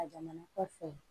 A jamana kɔfɛ